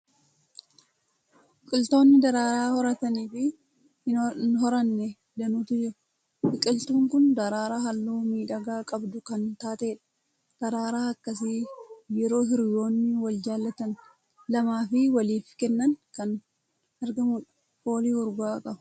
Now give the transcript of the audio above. Biqiltoonni daraaraa horatanii fi hin horanne danuutu jiru. Biqiltuun kun daraaraa halluu miidhagaa qabdu kan taatedha. Daraaraa akkasii yeroo hiriyyoonni wal jaalatan lama waliif kennan kan argamudha. Foolii urgaa'aa qaba!